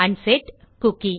unset cookie